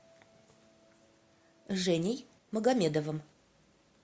женей магомедовым